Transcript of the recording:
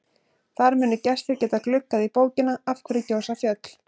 Þar munu gestir geta gluggað í bókina Af hverju gjósa fjöll?